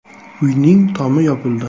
Uyning tomi yopildi.